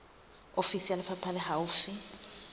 ofisi ya lefapha le haufi